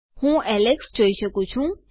હું એલેક્સ જોઈ શકું છું